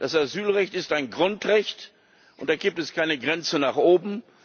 Das Asylrecht ist ein Grundrecht, und da gibt es keine Grenze nach oben.